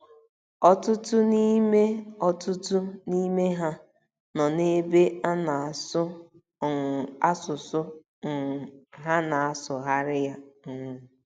Ọtụtụ n’ime Ọtụtụ n’ime ha nọ n’ebe a na - asụ um asụsụ um ha na - asụgharị ya um.